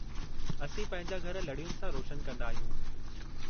असीं पंहिंजा घर लड़ियुनि सां रोशन कंदा आहियूं।